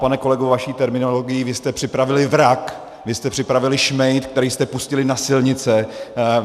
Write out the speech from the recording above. Pane kolego, vaší terminologií, vy jste připravili vrak, vy jste připravili šmejd, který jste pustili na silnice.